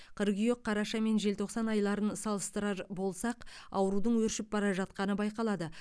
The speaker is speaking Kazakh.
қыркүйек қараша мен желтоқсан айларын салыстырар болсақ аурудың өршіп бара жатқаны байқалады